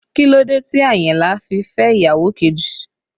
Kí ló dé tí Àyìnlá fi fẹ́ ìyàwó kejì?